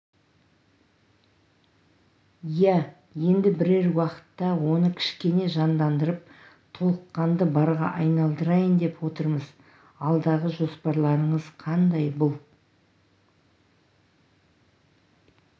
иә енді бірер уақытта оны кішкене жандандырып толыққанды барға айналдырайын деп отырмыз алдағы жоспарларыңыз қандай бұл